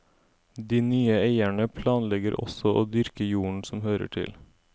De nye eierne planlegger også å dyrke jorden som hører til.